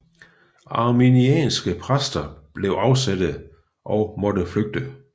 Arminianske præster blev afsatte og måtte flygte